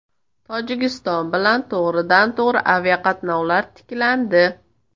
Tojikiston bilan to‘g‘ridan-to‘g‘ri aviaqatnovlar tiklandi.